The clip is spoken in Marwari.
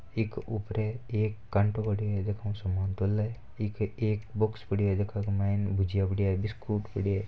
एक ऊपर कांटो पड़ो है समान तोल इक एक बॉक्स पड़ो है जेके माइन भुजिया बिस्कुट पड़ा है।